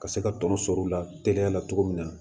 Ka se ka tɔnɔ sɔrɔ u la teliya la cogo min na